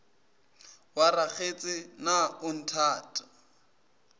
wa rakgetse na o nthata